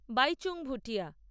Baichung Bhutia